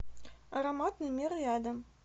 ароматный мир рядом